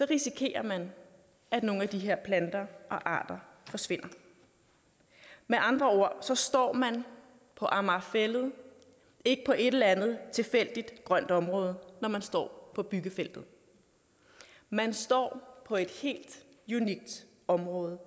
risikerer man at nogle af de her planter og arter forsvinder med andre ord så står man på amager fælled ikke på et eller andet tilfældigt grønt område når man står på byggefeltet man står på et helt unikt område